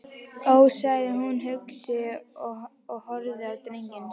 Ó, sagði hún hugsi og horfði á drenginn sinn.